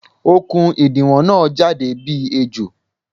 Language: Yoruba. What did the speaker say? Okùn ìdiwọ̀n na jáde bí ejò